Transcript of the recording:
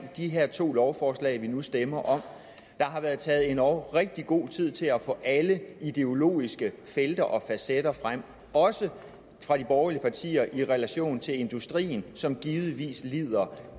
af de her to lovforslag som vi nu stemmer om der har været taget endog rigtig god tid til at få alle ideologiske felter og facetter frem også fra de borgerlige partier i relation til industrien som givetvis lider